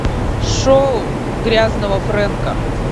шоу грязного фрэнка